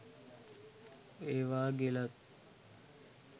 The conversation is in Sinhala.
ඒවා ගෙලත්